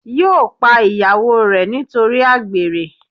yóò pa ìyàwó re nítorí àgbèrè